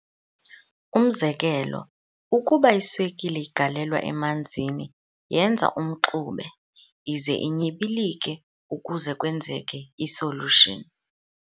Umzekelo, ukuba iswekile igalelwa emanzini yenza umxube, ize inyibilike ukuze kwenzeke i-solution.